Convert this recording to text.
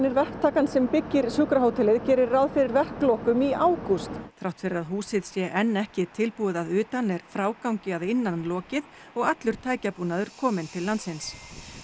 verktakans sem byggir hótelið gerir ráð fyrir verklokum í ágúst þrátt fyrir að húsið sé enn ekki tilbúið að utan er frágangi að innan lokið og allur tækjabúnaður kominn til landsins